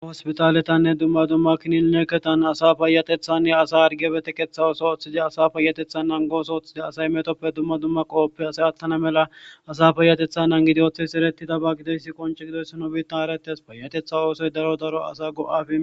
hospitaletanne dumma dumma kinineeketan asa paayatethanne asa argebetekeththa oso ooththiza asa payatethan nangos ooththidi asay metoppe dumma dumma qooppe asay attana mela asa payatetha nangidi ooththes eretidaba gideyssi qonce gidoysino biitta haretes payatetha oosoy daro daro asa go7afi.